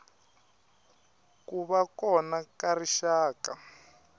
ku va kona ka rixaka